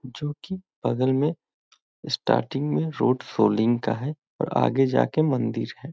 जो की बगल मे स्टार्टिंग में रोड सोलिंग का है और आगे जा के मंदिर है।